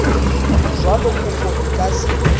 jwalo kopo e ka se